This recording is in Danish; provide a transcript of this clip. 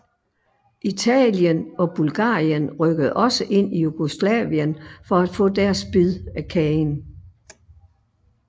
Italien og Bulgarien rykkede også ind i Jugoslavien for at få deres bid af kagen